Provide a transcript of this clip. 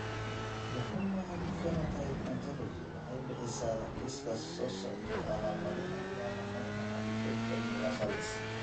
The Human Phenotype Ontology waxay bixisaa liiska soo socda ee calaamadaha iyo calaamadaha Alopecia universalis.